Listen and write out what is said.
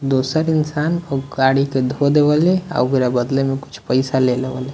दोसर इंसान औ गाडी के धो दे वले और ओकरा बदले में कुछ पैसा लेले वले।